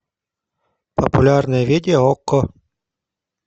популярное видео окко